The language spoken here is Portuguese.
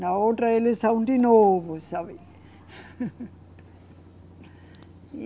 Na outra, eleição de novo, sabe? E